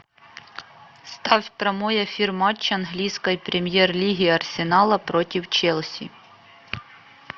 ставь прямой эфир матча английской премьер лиги арсенала против челси